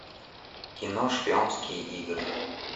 кино шпионские игры